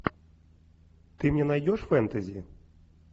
ты мне найдешь фэнтези